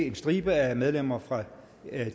en stribe af medlemmer fra